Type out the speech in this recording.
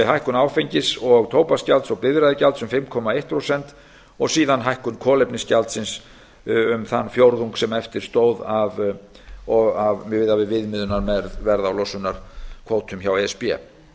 hækkun áfengis og tóbaksgjalds og bifreiðagjalds um fimm komma eitt prósent og síðan hækkun kolefnisgjaldsins um þann fjórðung sem eftir stóð miðað við viðmiðunarverð á losunarkvótum hjá e s b